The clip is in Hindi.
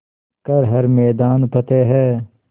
कर हर मैदान फ़तेह